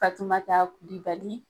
Fatimata Kulibali.